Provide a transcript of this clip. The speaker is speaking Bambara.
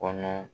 Kɔnɔ